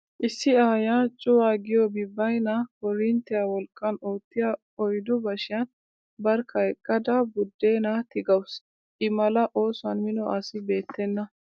Issi aayyiya cuwa giyoobi baynna koorinttiya wolqqan oottiya oyddu bashiyan barkka eqqada buddeenaa tigawusu. I mala oosuwan mino asi beettenna.